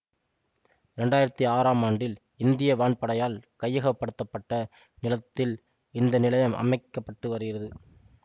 இரண்டு ஆயிரத்தி ஆறாம் ஆண்டில் இந்திய வான்படையால் கையகப்படுத்த பட்ட நிலத்தில் இந்த நிலையம் அமைக்க பட்டு வருகிறது